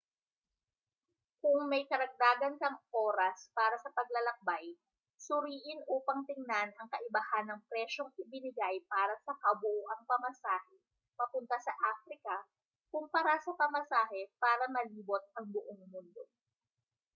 kung may karagdagan kang oras para sa paglalakbay suriin upang tingnan ang kaibahan ng presyong ibinigay para sa kabuuang pamasahe papunta sa africa kumpara sa pamasahe para malibot ang buong mundo